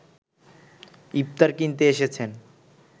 ইফতার কিনতে এসেছেন